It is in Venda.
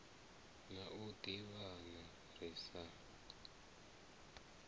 na u ḓivhana ri sa